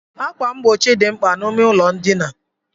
Ákwà mgbochi dị mkpa n'ime ụlọ ndina.